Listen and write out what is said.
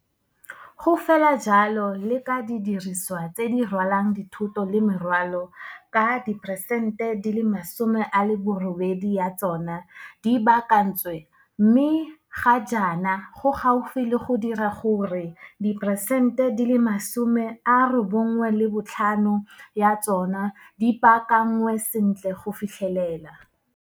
Go fela jalo le ka didirisiwa tse di rwalang dithoto le merwalo ka diperesente 80 ya tsona di baakantswe mme ga jaana go gaufi le go dira gore diperesente 95 ya tsona di baakanngwe sentle go fitlhelela.